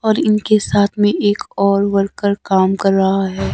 और इनके साथ में एक और वर्कर काम कर रहा है।